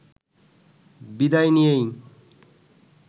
বিদায় নিয়েই